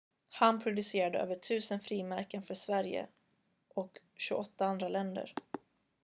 han producerade över 1000 frimärken för sverige och 28 andra länder